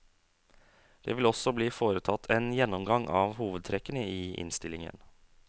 Det vil også bli foretatt en gjennomgang av hovedtrekkene i innstillingen.